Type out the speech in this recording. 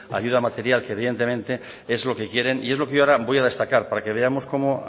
ayuda material que evidentemente es lo que quieren y es lo que yo ahora voy a destacar para que veamos cómo